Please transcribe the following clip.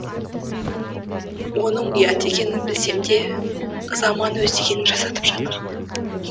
оным ұят екенін білсем де заман өз дегенін жасатып жатыр